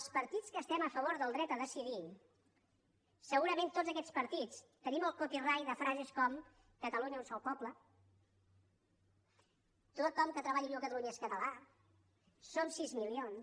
els partits que estem a favor del dret a decidir segurament tots aquests partits tenim el copyright de frases com catalunya un sol poble tothom qui treballa i viu a catalunya és català som sis milions